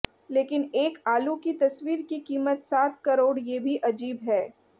लेकिन एक आलू की तस्वीर की कीमत सात करोड़ ये भी अजीब है